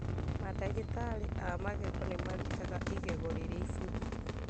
Mandagĩtarĩ a magego nĩmarutaga igego rĩrĩa ibuthu